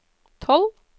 tolv